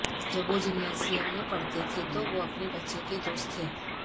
جب وہ جمناسیم میں پڑھتے تھے تو وہ اپنے بچے کے دوست تھے